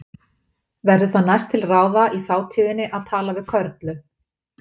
Verður það næst til ráða í þátíðinni að tala við Körlu.